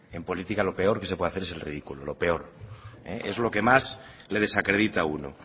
en política lo peor que se puede hacer es el ridículo lo peor es lo que más le desacredita a uno